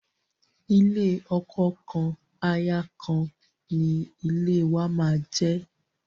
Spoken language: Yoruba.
Ilé ọkọ kan, aya kan ni ilé wàá máa jẹ́.